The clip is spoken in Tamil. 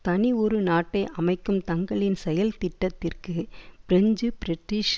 தனி ஒரு நாட்டை அமைக்கும் தங்களின் செயல்திட்டத்திற்கு பிரெஞ்சு பிரிட்டீஷ்